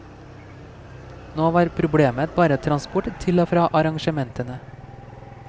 Nå var problemet bare transport til og fra arrangementene.